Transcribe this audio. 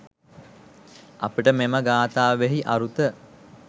අපට මෙම ගාථාවෙහි අරුත